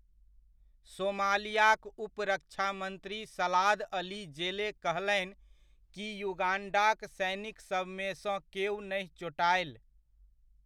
सोमालियाक उप रक्षा मंत्री सलाद अली जेले कहलनि कि युगाण्डाक सैनिकसबमे सँ केओ नहि चोटाएल।